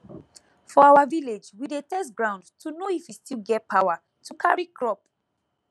for our village we dey test ground to know if e still get power to carry crop